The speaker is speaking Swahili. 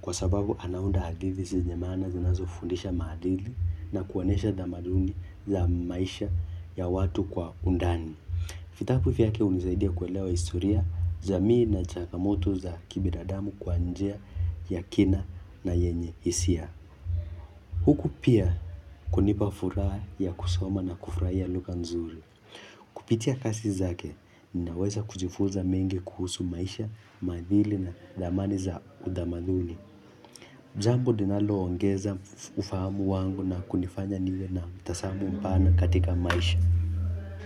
Kwa sababu anaunda hadithi zenye maana zinazofundisha maadili na kuonesha thamaduni za maisha ya watu kwa undani. Vitapu vyake hunisaidia kuelewa historia jamii na changamoto za kibinadamu kwa njia ya kina na yenye hisia. Huku pia kunipa furaha ya kusoma na kufahia lugha nzuri. Kupitia kasi zake, ninaweza kujifunza mengi kuhusu maisha, maadili na thamani za utamadhuni. Jambo linaloongeza ufahamu wangu na kunifanya niwe na mtazamo mpana katika maisha.